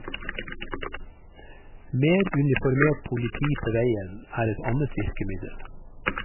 Mer uniformert politi på veien er et annet virkemiddel.